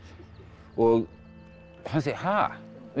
og hann segir ha